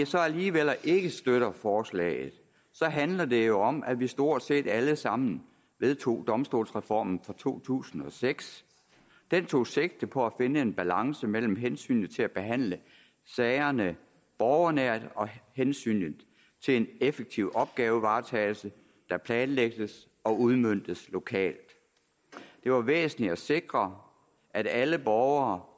så alligevel ikke støtter forslaget handler det jo om at vi stort set alle sammen vedtog domstolsreformen fra to tusind og seks den tog sigte på at finde en balance mellem hensynet til at behandle sagerne borgernært og hensynet til en effektiv opgavevaretagelse der planlægges og udmøntes lokalt det var væsentligt at sikre at alle borgere